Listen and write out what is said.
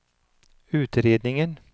utredningen